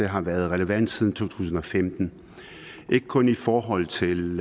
har været relevant siden to tusind og femten ikke kun i forhold til